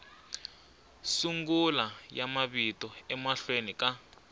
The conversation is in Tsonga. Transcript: sungula ya mavito emahlweni ka